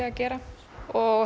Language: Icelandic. að gera og